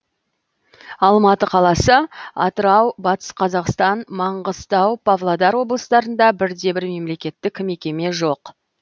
алматы қаласы атырау батыс қазақстан маңғыстау павлодар облыстарында бірде бір мемлекеттік мекеме жоқ